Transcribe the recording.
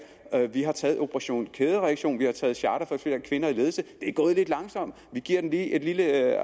vi har taget operation kædereaktion vi har taget charter for flere kvinder i ledelse det er gået lidt langsomt vi giver den lige et lille